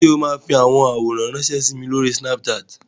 Ṣé wà á fi àwọn àwòrán ránṣẹ́ sí mi lórí Snapchat?